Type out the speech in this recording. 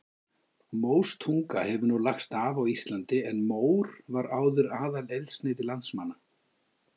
Móstunga hefur nú lagst af á Íslandi en mór var áður aðaleldsneyti landsmanna.